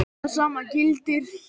Það sama gildir hér.